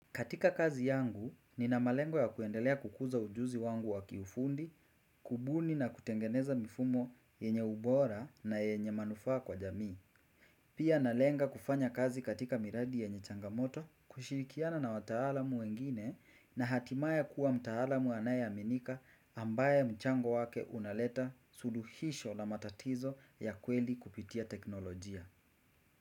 Katika kazi yangu, nina malengo ya kuendelea kukuza ujuzi wangu wa kiufundi, kubuni na kutengeneza mifumo yenye ubora na yenye manufaa kwa jamii. Pia nalenga kufanya kazi katika miradi yenye changamoto, kushirikiana na wataalamu wengine na hatimaye kuwa mtaalamu anayeamenika ambaye mchango wake unaleta suluhisho na matatizo ya kweli kupitia teknolojia.